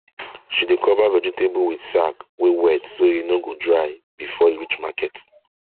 she dey cover vegetable with sack wey wet so e no go dry before e reach market